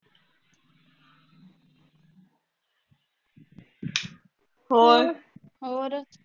ਹੋਰ